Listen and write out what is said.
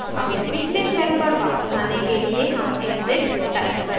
अपने पिछले shell पर वापस आने के लिए हम exit type करेंगे